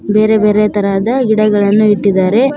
ಬೇರೆ ಬೇರೆ ತರಹದ ಗಿಡಗಳನ್ನು ಇಟ್ಟಿದಾರೆ.